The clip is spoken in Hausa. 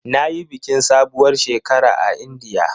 Na yi bikin sabuwar shekara a Indiya.